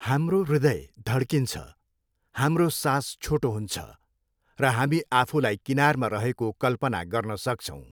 हाम्रो हृदय धड्किन्छ, हाम्रो सास छोटो हुन्छ, र हामी आफूलाई किनारमा रहेको कल्पना गर्न सक्छौँ।